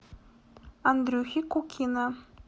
андрюхи кукина